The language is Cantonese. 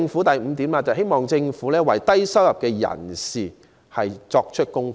第五，我亦希望政府為低收入人士作供款。